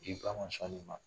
I ba ma sɔn nin ma